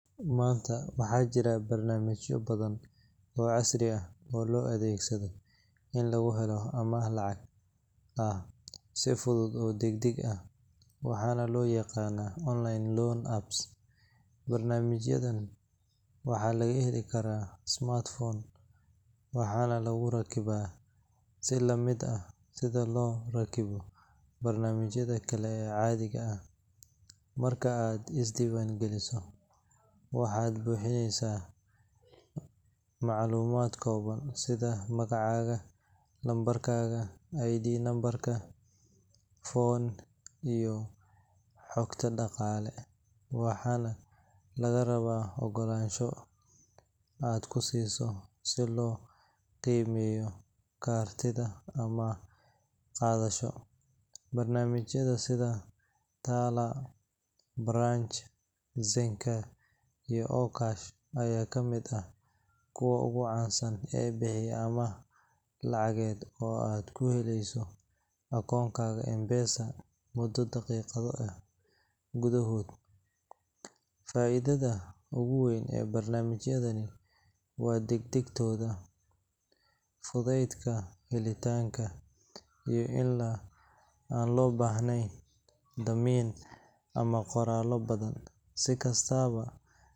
Maanta, waxaa jira barnaamijyo badan oo casri ah oo loo adeegsado in lagu helo amaah lacag ah si fudud oo degdeg ah, waxaana loo yaqaan online loan apps. Barnaamijyadan waxaa laga heli karaa smartphone, waxaana lagu rakibaa si la mid ah sida loo rakibo barnaamijyada kale ee caadiga ah. Marka aad is diiwaangeliso, waxaad buuxinaysaa macluumaad kooban sida magacaaga, lambarka ID, nambarka phone, iyo xogta dhaqaale, waxaana lagaa rabaa ogolaansho aad ku siiso si loo qiimeeyo kartidaada amaah qaadasho. Barnaamijyada sida Tala, Branch, Zenka, iyo Okash ayaa kamid ah kuwa ugu caansan ee bixiya amaah lacageed oo aad ku helayso akoonkaaga M-Pesa muddo daqiiqado gudahood ah. Faa’iidada ugu weyn ee barnaamijyadani waa degdegtooda, fudaydka helitaanka, iyo in aan loo baahnayn dammiin ama qoraallo badan. Si kastaba.